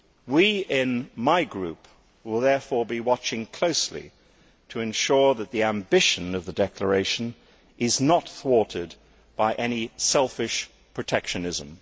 We in my group will therefore be watching closely to ensure that the ambition of the declaration is not thwarted by any selfish protectionism.